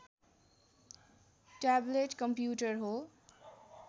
tablet computer हो